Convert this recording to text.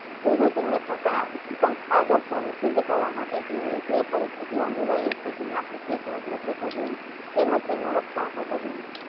બીજું તેમને પોતાના ઇચ્તુત્મ આદર સોને સીધ કરવા માટે જે પરીસ્થીતીયું અનીવાયો છે તેમના પ્રતિ જાગૃત રેહવું જોયીયે તેમજ તેમનું રક્ષણ કરવુ જોયીયે.